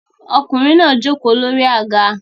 Ọkùnrin náà jókòó lórí àga